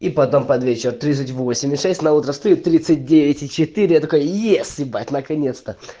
и потом под вечер тридцать восемь и шесть на утро встаю тридцать девять и четыре я такой ес ебать наконец-то